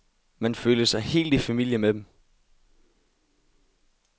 Man følte sig helt i familie med dem.